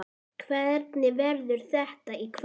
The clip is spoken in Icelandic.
Hvernig verður þetta í kvöld?